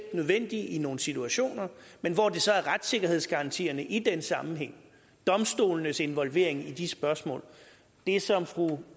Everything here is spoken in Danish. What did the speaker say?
nødvendig i nogle situationer men hvor det så er retssikkerhedsgarantierne i den sammenhæng domstolenes involvering i de spørgsmål det som fru